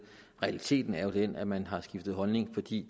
realiteten er jo den at man har skiftet holdning fordi